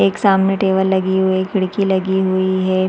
एक सामने टेबल लगी हुई है खिड़की लगी हुई है।